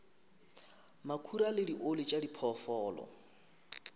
makhura le dioli tša diphoofolo